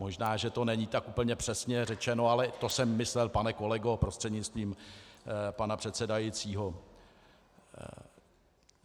Možná že to není tak úplně přesně řečeno, ale to jsem myslel, pane kolego prostřednictvím pana předsedajícího.